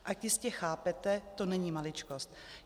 Jak jistě chápete, to není maličkost.